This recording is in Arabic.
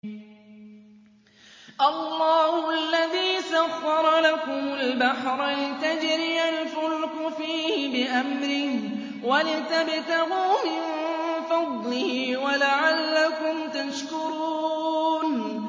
۞ اللَّهُ الَّذِي سَخَّرَ لَكُمُ الْبَحْرَ لِتَجْرِيَ الْفُلْكُ فِيهِ بِأَمْرِهِ وَلِتَبْتَغُوا مِن فَضْلِهِ وَلَعَلَّكُمْ تَشْكُرُونَ